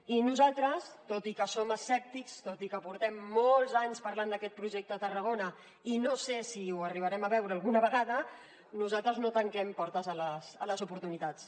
i nosaltres tot i que som escèptics tot i que portem molts anys parlant d’aquest projecte a tarragona i no sé si ho arribarem a veure alguna vegada nosaltres no tanquem portes a les oportunitats